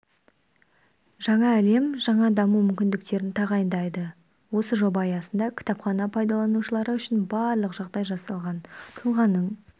жаңа әлем жаңа даму мүмкіндіктерін тағайындайды осы жоба аясында кітапхана пайдаланушылары үшін барлық жағдай жасалған тұлғаның